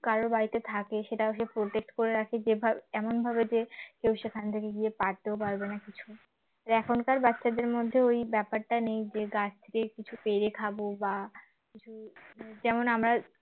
কারো বাড়িতে থাকে সেটা কেউ protect করে রাখে যেভাবে এমনভাবে যে কেউ সেখান থেকে গিয়ে পারতেও পারবে না কিছু এখনকার বাচ্চাদের মধ্যে ওই ব্যাপারটা নেই যে গাছ থেকে কিছু পেরে খাব বা যেমন আমরা